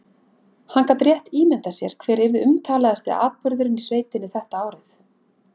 Hann gat rétt ímyndað sér hver yrði umtalaðasti atburðurinn í sveitinni þetta árið.